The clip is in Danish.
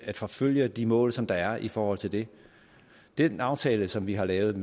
at forfølge de mål som der er i forhold til det den aftale som vi har lavet